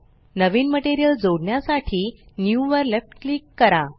नवीन material जोडण्यासाठी new वर left click करा